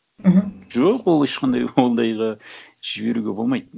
мхм жоқ ол ешқандай ондайға жіберуге болмайды